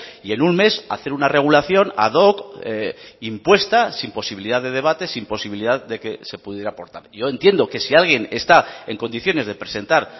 y en un mes hacer una regulación ad hoc impuesta sin posibilidad de debates sin posibilidad de que se pudiera aportar yo entiendo que si alguien está en condiciones de presentar